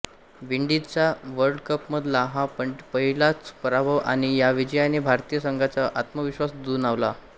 विंडीजचा वर्ल्डकपमधला हा पहिलाच पराभव आणि या विजयाने भारतीय संघाचा आत्मविश्वास दुणावला